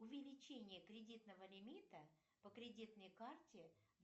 увеличение кредитного лимита по кредитной карте